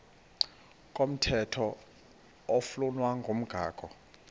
komthetho oflunwa ngumgago